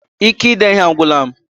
Ike ide ihe a agwụla m